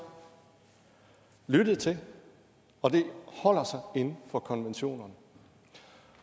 lyttet til og det holder sig inden for konventionerne